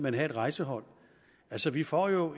er et rejsehold altså vi får jo